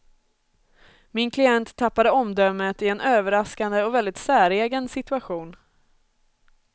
Min klient tappade omdömet i en överraskande och väldigt säregen situation.